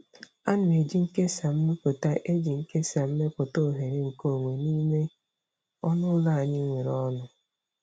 Ana m eji nkesa mepụta eji nkesa mepụta oghere nkeonwe n'ime ọnụ ụlọ anyị nwere ọnụ.